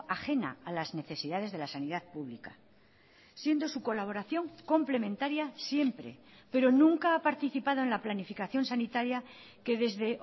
ajena a las necesidades de la sanidad pública siendo su colaboración complementaria siempre pero nunca ha participado en la planificación sanitaria que desde